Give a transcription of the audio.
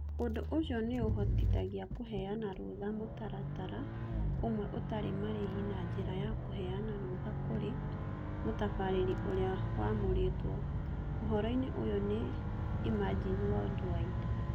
Ũndũ ũcio nĩ ũhotithagia kũheana rũtha mũtaratara ũmwe ũtarĩ marĩhi na njĩra ya kũheana rũtha kũrĩ mũtabarĩri ũrĩa wamũrĩtwo (ũhoro-inĩ ũyũ nĩ Imagine Worldwide)